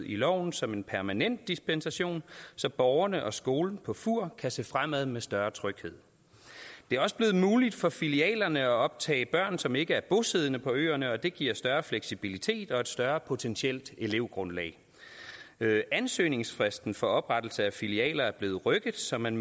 i loven som en permanent dispensation så borgerne og skolen på fur kan se fremad med større tryghed det er også blevet muligt for filialerne at optage børn som ikke er bosiddende på øerne og det giver større fleksibilitet og et større potentielt elevgrundlag ansøgningsfristen for oprettelse af filialer er blevet rykket så man